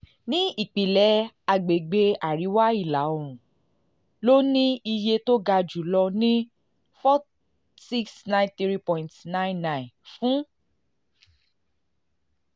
ní ìpìlẹ̀ àgbègbè àríwá ìlà oòrùn ló ní iye tó ga jù lọ ní n four thousand six hundred ninety three point nine nine fún